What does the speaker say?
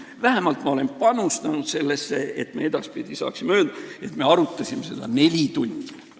Vähemalt olen ma nüüd panustanud sellesse, et me edaspidi saaksime öelda, et me arutasime seda neli tundi.